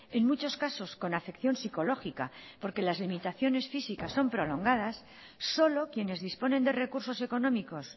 en muchos casos con afección psicológica porque las limitaciones físicas son prolongadas solo quienes disponen de recursos económicos